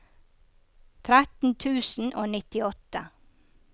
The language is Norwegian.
tretten tusen og nittiåtte